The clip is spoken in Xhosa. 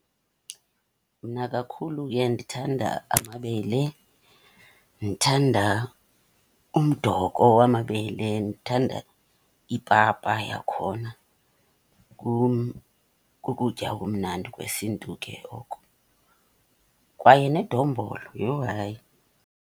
Mna kakhulu ndithanda amabele. Ndithanda umdoko wamabele, ndithanda ipapa yakhona. Kukutya okumnandi kwesiNtu ke oko. Kwaye nedombolo, yho hayi.